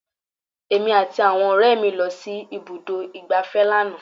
Èmi àti àwọn ọ̀rẹ́ mi lọ sí ibùdó ìgbáfẹ́ lánàá